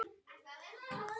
Breki: Hvernig líður þér?